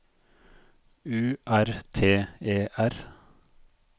U R T E R